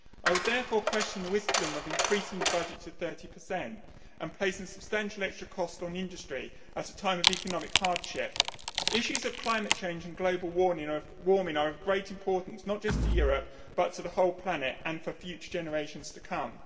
I would therefore question the wisdom of increasing the budget to 30 and placing substantial extra costs on the industry at a time of economic hardship. Issues of climate change and global warming are of great importance not just to Europe, but to the whole planet and for future generations to come.